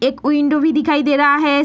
एक विंडो भी दिखाई दे रहा है।